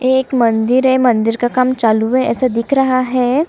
एक मंदिर है मंदिर का काम चालू है ऐसा दिख रहा है।